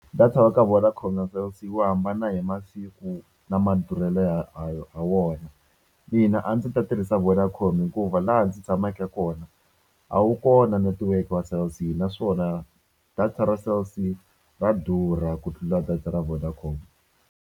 Data wa ka Vodacom na Cell C wu hambana hi masiku na madurhelo ya ha ha wona mina a ndzi ta tirhisa Vodacom hikuva laha ndzi tshameke kona a wu kona netiweke wa Cell C naswona data ra Cell C ra durha ku tlula data ra Vodacom.